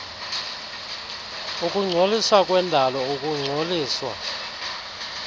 ukungcoliswa kwendalo ukungcoliswa